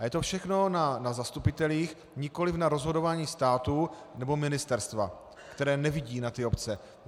A je to všechno na zastupitelích, nikoliv na rozhodování státu nebo ministerstva, které nevidí na ty obce.